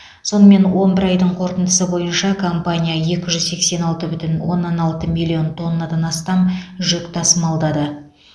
сонымен он бір айдың қорытындысы бойынша компания екі жүз сексен алты бүтін оннан алты миллион тоннадан астам жүк тасымалдады